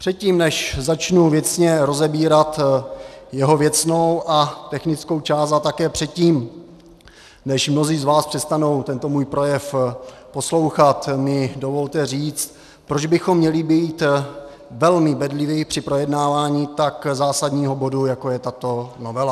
Předtím, než začnu věcně rozebírat jeho věcnou a technickou část, a také předtím, než mnozí z vás přestanou tento můj projev poslouchat, mi dovolte říct, proč bychom měli být velmi bedliví při projednávání tak zásadního bodu, jako je tato novela.